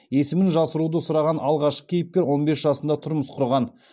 есімін жасыруды сұраған алғашқы кейіпкер он бес жасында тұрмыс құрған